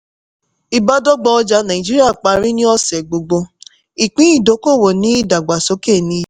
ìbádọ́gba ọjà naijiria parí ni ọ̀sẹ̀ gbogbo ìpín ìdókòwò ní ìdàgbàsókè níye.